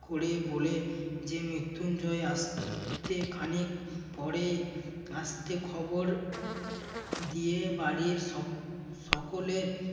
করে বলে যে মৃত্যুঞ্জয় আসছে খানিক পরেই আসতে খবর দিয়ে বাড়ির সক~ সকলের